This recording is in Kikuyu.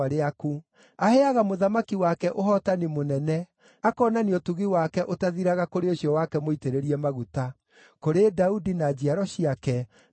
Aheaga mũthamaki wake ũhootani mũnene; akonania ũtugi wake ũtathiraga kũrĩ ũcio wake mũitĩrĩrie maguta, kũrĩ Daudi na njiaro ciake nginya tene.”